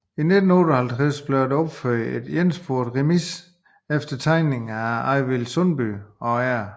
I 1958 blev der opført en ensporet remise efter tegninger af Arvid Sundby og R